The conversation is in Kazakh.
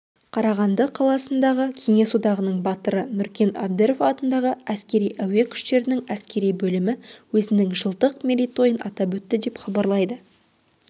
қарағанды қаласындағы кеңес одағының батыры нүркен әбдіров атындағы әскери-әуе күштерінің әскери бөлімі өзінің жылдық мерейтойын атап өтті деп хабарлайды